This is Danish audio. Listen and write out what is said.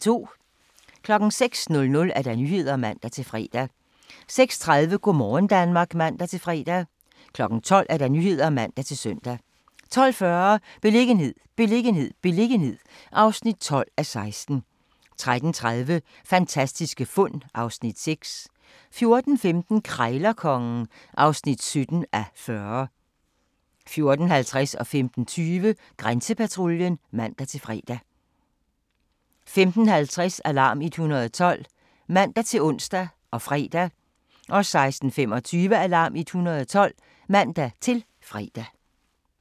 06:00: Nyhederne (man-fre) 06:30: Go' morgen Danmark (man-fre) 12:00: Nyhederne (man-søn) 12:40: Beliggenhed, beliggenhed, beliggenhed (12:16) 13:30: Fantastiske fund (Afs. 6) 14:15: Krejlerkongen (17:40) 14:50: Grænsepatruljen (man-fre) 15:20: Grænsepatruljen (man-fre) 15:50: Alarm 112 (man-ons og fre) 16:25: Alarm 112 (man-fre)